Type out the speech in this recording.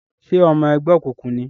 Ṣe ọmọ ẹgbẹ́ okunkun ní?